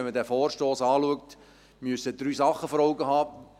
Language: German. Wenn man diesen Vorstoss anschaut, muss man drei Dinge vor Augen haben.